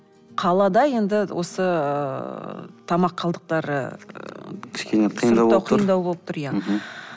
қалада енді осы ыыы тамақ қалдықтары кішкене қиындау болып тұр